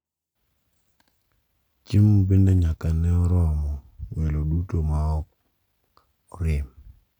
Chiemo bende nyaka ne ni oromo welo duto ma ok orem.